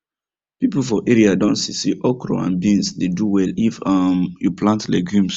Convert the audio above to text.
people for area don see say okra and beans dey do well if um you plant legumes